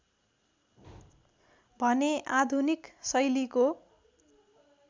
भने आधुनिक शैलीको